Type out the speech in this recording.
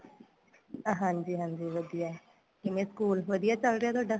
ਹਾਂਜੀ ਹਾਂਜੀ ਵਧੀਆ ਕਿਵੇਂ school ਵਧੀਆ ਚੱਲ ਰਿਹਾ ਤੁਹਾਡਾ